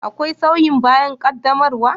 Akwai sauyi bayan qaddamarwa?